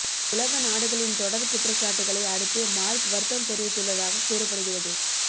உலக நாடுகளின் தொடர் குற்றச்சாட்டுகளை அடுத்தே மார்க் வருத்தம் தெரிவித்துள்ளதாக கூறப்படுகிறது